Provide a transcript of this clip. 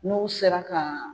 N'u sera ka